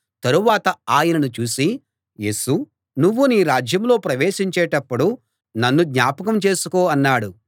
తరువాత ఆయనను చూసి యేసూ నువ్వు నీ రాజ్యంలో ప్రవేశించేటప్పుడు నన్ను జ్ఞాపకం చేసుకో అన్నాడు